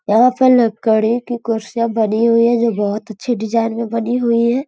लकड़ी की कुर्सियां बनी हुई हैं। ये बहोत अच्छी डिज़ाइन बनी हुई हैं।